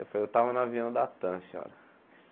Eu falei, eu estava no avião da Tam, senhora.